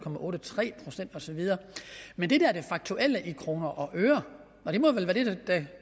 procent og så videre men det faktuelle beløb i kroner og øre